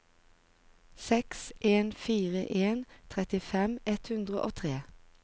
seks en fire en trettifem ett hundre og tre